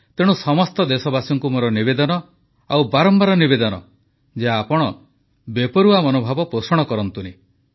ତେଣୁ ସମସ୍ତ ଦେଶବାସୀଙ୍କୁ ମୋର ନିବେଦନ ଆଉ ବାରମ୍ବାର ନିବେଦନ ଯେ ଆପଣ ବେପରୁଆ ମନୋଭାବ ପୋଷଣ କରନ୍ତୁନି